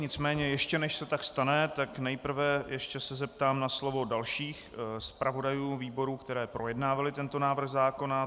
Nicméně ještě, než se tak stane, tak nejprve se ještě zeptám na slovo dalších zpravodajů výborů, které projednávali tento návrh zákona.